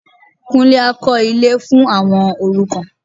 Kúnlé á kọ́ ilé fún àwọn òrukàn